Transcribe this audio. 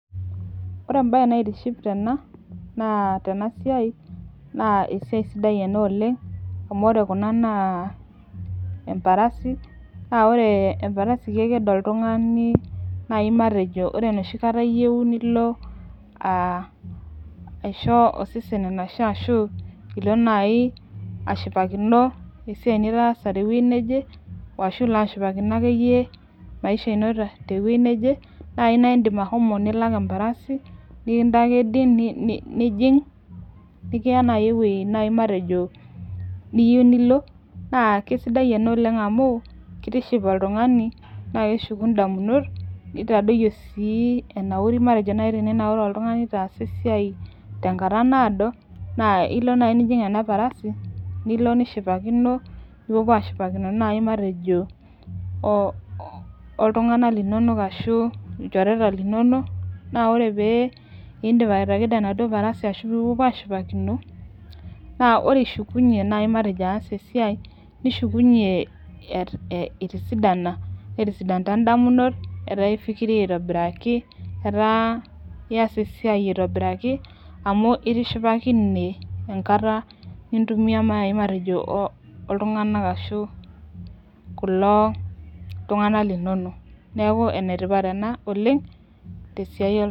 Ore embaye naitiship tena naa tena siai naa esiai sidai ena oleng' amu ore kuna naa emparasi naa ore emparasi keked oltung'ani nai matejo ore enoshi kata iyeu nilo aa aisho osesen enashe ashu ilo nai ashipakino esiai nitaasa te wuei neje ashu ilo ashipakino akeyie maisha ino te wuei neje nae niindim ashomo nilak emparasi nekintakedi ni ni nijing' nikiya nai ewuei nai matejo niyiu nilo, naa kesidai ena oleng' amu kitiship oltung'ani naake eshuku ndamunot, nitadoiyio sii enauri matejo nai eninaura oltung'ani itaasa esiai tenkata naado naa ilo nai nijing' ena parasi nilo nishipakino, nipopuo aashipakino nai matejo oo ooltung'anak linonok ashu ilchoreta linonok. Naa ore pee iindip atakedo enaduo parasi ashu ipopuo aashipakino naa ore ishukunye nai matejo aas esiai nishukunye e itisadana netisidanta indamunot, etaa ifikiria aitobiraki, etaa ias esiai aitobiraki amu itishipakine enkata nintumia matejo oo ooltung'anak ashu kulo tung'anal linonok. Neeku ene tipat ena oleng' te siai ee..